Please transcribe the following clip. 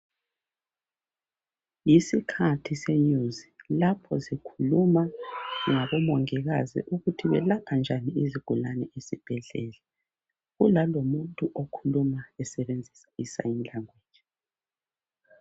Yisikhathi senews lapho zikhuluma ngabomongikazi ukuthi belapha njani izigulani esibhedlela kulalomuntu okhuluma esebenzisa isign language.